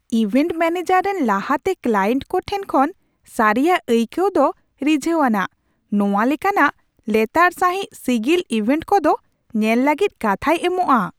Event manager ᱨᱮᱱ ᱞᱟᱦᱟᱛᱮ client ᱠᱚ ᱴᱷᱮᱱ ᱠᱷᱚᱱ ᱥᱟᱹᱨᱤᱭᱟᱜ ᱟᱹᱭᱠᱟᱹᱣ ᱫᱚ ᱨᱤᱡᱷᱟᱹᱣᱟᱱᱟᱜ ᱾ ᱱᱚᱶᱟ ᱞᱮᱠᱟᱱᱟᱜ ᱞᱮᱛᱟᱲ ᱥᱟᱹᱦᱤᱡ ᱥᱤᱜᱤᱞ ᱤᱵᱷᱮᱱᱴ ᱠᱚᱫᱚ ᱧᱮᱞ ᱞᱟᱹᱜᱤᱫ ᱠᱟᱛᱷᱟᱭ ᱮᱢᱚᱜᱼᱟ ᱾